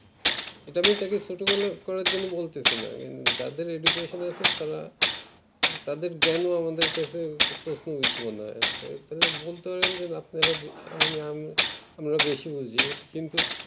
এটা আমি তাকে ছোট করার জন্য বলতেছি না যাদের education আছে তারা তাদের জ্ঞান ও আমাদের কাছে প্রশ্ন বিদ ও মনে হয় তাহলে বলতে পারেন আমরা বেশি বুঝি